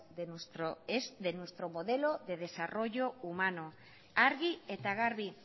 de nuestro modelo humano argi eta garbi